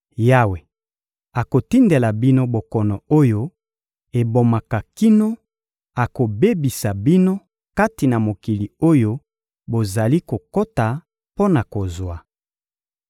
Yawe akotindela bino bokono oyo ebomaka kino akobebisa bino kati na mokili oyo bozali kokota mpo na kozwa.